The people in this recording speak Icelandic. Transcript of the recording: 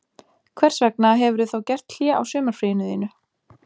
Hvers vegna hefurðu þá gert hlé á sumarfríinu þínu